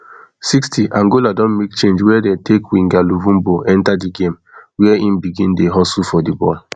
sixtyangola don make change wia dey take winger luvumbo enta di game wia im begin dey hustle for di ball